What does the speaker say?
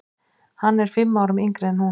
Hann er fimm árum yngri en hún.